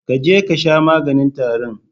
Ka je kasha maganin tarin